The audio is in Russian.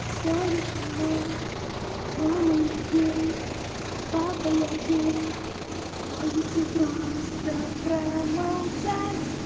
говоришь но мама я гей папа я гей можете просто промолчать